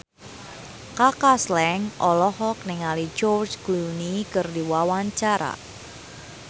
Kaka Slank olohok ningali George Clooney keur diwawancara